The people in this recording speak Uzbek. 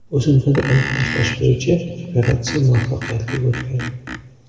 O‘simtani olib tashlash bo‘yicha operatsiya muvaffaqiyatli o‘tgan.